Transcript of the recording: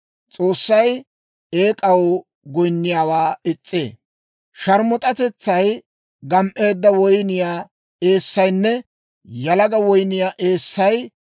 «Sharmus'atetsay, gam"eedda woyniyaa eessaynne yalaga woyniyaa eessay ta asaa wozanaa bayzzee.